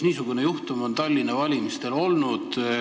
Niisugune juhtum on Tallinna valimistel olnud.